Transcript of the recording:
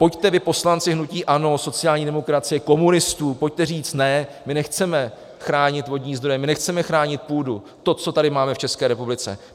Pojďte vy, poslanci hnutí ANO, sociální demokracie, komunistů, pojďte říct ne, my nechceme chránit vodní zdroje, my nechceme chránit půdu, to, co tady máme v České republice.